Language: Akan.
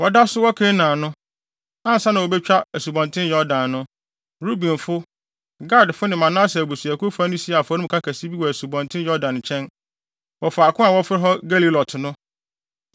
Wɔda so wɔ Kanaan no, ansa na wobetwa Asubɔnten Yordan no, Rubenfo, Gadfo ne Manase abusuakuw fa no sii afɔremuka kɛse bi wɔ Asubɔnten Yordan nkyɛn, wɔ faako a wɔfrɛ hɔ Gelilot no.